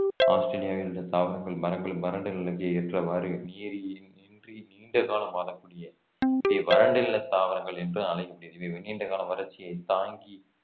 ஆஸ்திரேலியாவில் உள்ள தாவரங்கள் மரங்களும் வறண்ட நிலைக்கு ஏற்றவாறு நீர் இன்~ இன்றி நீண்ட காலம் வாழக்கூடிய வறண்டுள்ள தாவரங்கள் என்று அழைக்கப்படுகிறது இவை மிக நீண்ட கால வறட்சியைத் தாங்கி